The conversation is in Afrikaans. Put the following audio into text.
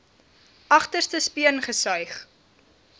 agterste speen gesuig